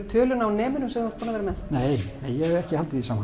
töluna á nemunum sem þú ert búinn að vera með nei ég hef ekki haldið því saman